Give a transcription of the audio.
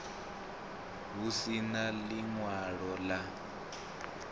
hu si na ḽiṅwalo ḽa